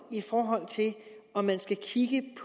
om hvorvidt man skal kigge